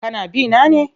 Kana bi na ne?